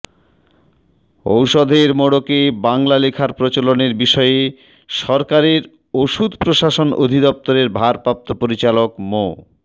ওষুধের মোড়কে বাংলা লেখার প্রচলনের বিষয়ে সরকারের ওষুধ প্রশাসন অধিদপ্তরের ভারপ্রাপ্ত পরিচালক মো